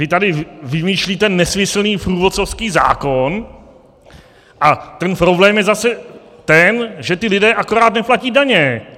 Vy tady vymýšlíte nesmyslný průvodcovský zákon a ten problém je zase ten, že ti lidé akorát neplatí daně!